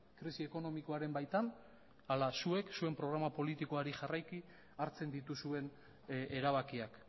krisi ekonomikoaren baitan ala zuek zuen programa politikoari jarraiki hartzen dituzuen erabakiak